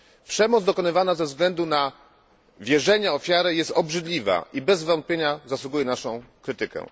Przemoc dokonywana ze względu na wierzenia ofiary jest obrzydliwa i bez wątpienia zasługuje na naszą krytykę.